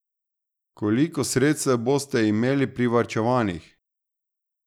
Koliko sredstev boste imeli privarčevanih?